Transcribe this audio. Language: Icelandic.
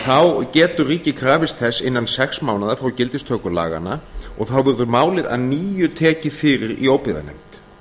fyrri grein getur ríkið krafist þess innan sex mánaða frá gildistöku laganna og þá verður málið að nýju tekið fyrir í óbyggðanefnd